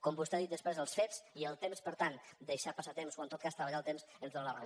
com vostè ha dit després els fets i els temps per tant deixar passar temps o en tot cas treballar el temps ens dóna la raó